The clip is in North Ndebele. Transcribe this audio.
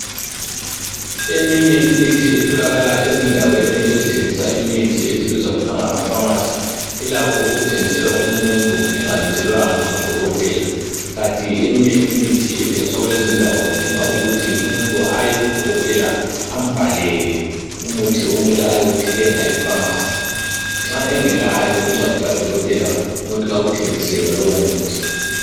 Eminye imithi etholakala ezindaweni ezithengisa imithi ezibizwa kuthiwa ngama pharmacy ilakho ukuthengisela umuntu engalotshelwanga ngu Dokotela kati eminye imithi ethengiswa kulezi indawo idinga ukuthi umuntu aye ku Dokotela ambhalele umuthi okumele ayewuthenga epharmacy. Nxa engelayo incwadi kaDokotela umuntu kawuthengiselwa lowo muthi.